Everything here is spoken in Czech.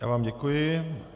Já vám děkuji.